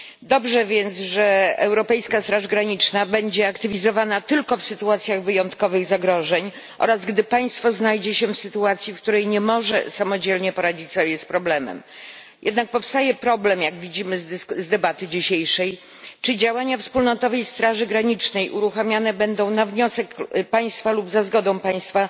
Dobrze więc, że europejska straż graniczna będzie aktywizowana tylko w sytuacjach wyjątkowych zagrożeń oraz gdy dane państwo znajdzie się w sytuacji, w której nie będzie mogło samodzielnie poradzić sobie z problemem. Jednak jak wynika z dzisiejszej debaty powstaje problem, czy działania wspólnotowej straży granicznej uruchamiane będą na wniosek państwa lub za zgodą państwa